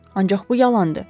Ancaq bu yalandır.